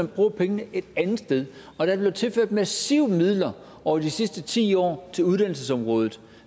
bruger pengene et andet sted og der er blevet tilført massivt med midler over de sidste ti år til uddannelsesområdet